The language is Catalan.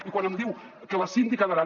i quan em diu que la síndica d’aran